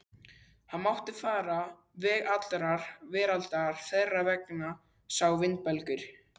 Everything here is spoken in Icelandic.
Viltu koma með mér í vinnuna? spurði Milla hikandi.